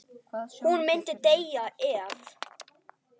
Hún myndi deyja ef.?